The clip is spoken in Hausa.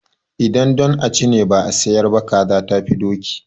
Idan don a ci ne ba a sayar ba, kaza tafi doki.